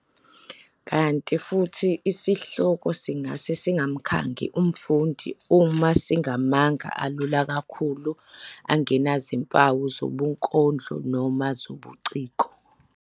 Kanti futhi isihloko singase singamkhangi umfundi uma singamagama alula kakhulu angenazimpawu zobunkondlo noma zobuciko.